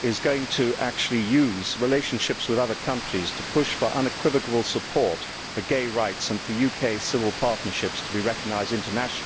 is going to use its relationships with other countries to push for unequivocal support for gay rights and for UK civil partnerships to be recognised internationally.